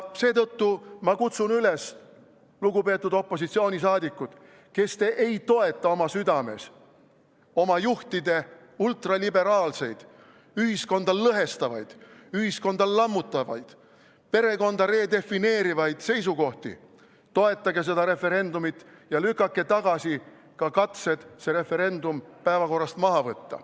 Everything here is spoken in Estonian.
Seetõttu kutsun ma üles, lugupeetud opositsiooni liikmed, kes te ei toeta oma südames oma juhtide ultraliberaalseid, ühiskonda lõhestavaid, ühiskonda lammutavaid, perekonda redefineerivaid seisukohti, toetage seda referendumit ja lükake tagasi ka katsed see referendum päevakorrast maha võtta.